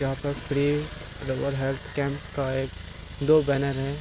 यहाँ पर free rural health camp का एक दो बैनर है।